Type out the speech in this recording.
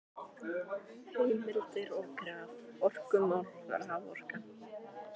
Heimildir og graf: Orkumál- Raforka.